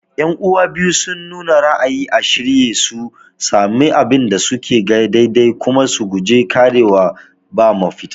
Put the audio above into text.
Yan'uwa biyu sun nuna ra'ayin a shirye su sami abin da suka ga daidai kuma su guji ƙarewa ba mafita